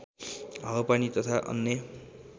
हावापानी तथा अन्य